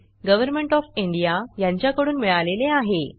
government of India यांच्याकडून मिळालेले आहे